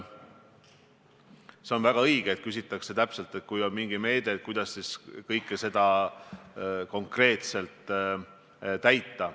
See on väga õige, et küsitakse konkreetselt, et kui on mingi meede, kuidas siis tagada selle täitmine.